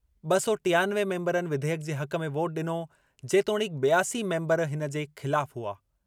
ॿ सौ टियानवे मेंबरनि विधेयक जे हक़ में वोट ॾिनो जेतोणीकि ॿियासी मेंबर इन जे ख़िलाफ़ हुआ।